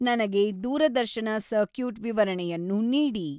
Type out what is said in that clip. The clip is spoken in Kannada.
ನನಗೆ ದೂರದರ್ಶನ ಸರ್ಕ್ಯೂಟ್ ವಿವರಣೆಯನ್ನು ನೀಡಿ